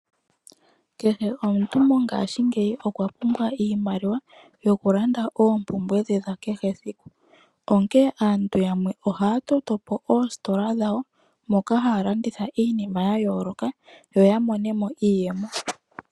Kehe omuntu mongashingeyi okwa pumbwa iimaliwa yokulanda oopumbwe dhe dha kehe esiku. Onkee aantu yamwe oha ya toto po oositola dhawo moka haya landitha iinima ya yooloka, yo ya mone mo iiyemo.